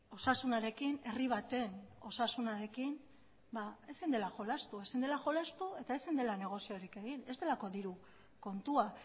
osasunarekin herri baten osasunarekin ezin dela jolastu ezin dela jolastu eta ezin dela negoziorik egin ez delako diru kontua